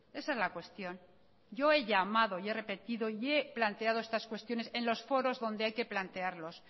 esa es la cuestión yo he llamado y he repetido y he planteado estas cuestiones en los foros donde hay que plantearlos